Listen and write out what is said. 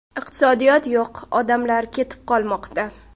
Iqtisodiyot yo‘q, odamlar ketib qolmoqda.